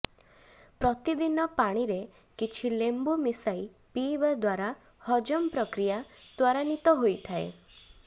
ପ୍ରତିଦିନ ପାଣିରେ କିଛି ଳେମ୍ବୁ ମିଶାଇ ପାଇବା ଦ୍ୱାରା ହଜମ ପ୍ରକ୍ରିୟା ତ୍ୱରାନ୍ବିତ ହୋଇଥାଏ